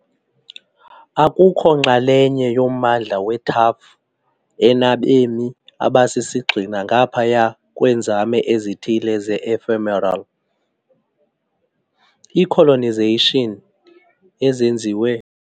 Akukho nxalenye yommandla we-TAAF enabemi abasisigxina, ngaphaya kweenzame ezithile ze-ephemeral colonization ezenziwe.